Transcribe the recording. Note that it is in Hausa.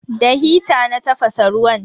Da hita na tafasa ruwan.